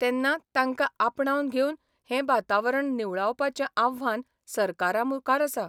तेन्ना तांकां आपणावन घेवन हें वातावरण निवळावपाचें आव्हान सरकारामुखार आसा.